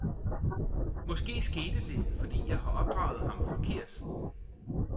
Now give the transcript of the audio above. Måske skete det, fordi jeg har opdraget ham forkert.